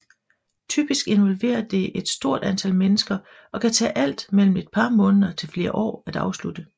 Typisk involverer det et stort antal mennesker og kan tage alt mellem et par måneder til flere år at afslutte